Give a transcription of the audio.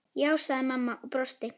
Já, sagði mamma og brosti.